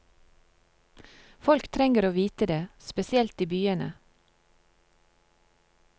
Folk trenger å vite det, spesielt i byene.